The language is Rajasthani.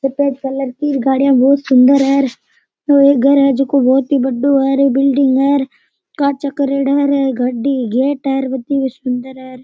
सफ़ेद कलर की गाड़ियां बहुत सुन्दर है और घर है जको बहुत ही बढ़ो है और बिल्डिंग है कांच करियोड़ा रे गाड़ी गेट है बहुत ही सुन्दर है।